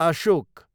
Ashok